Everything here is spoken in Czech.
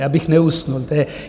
Já bych neusnul.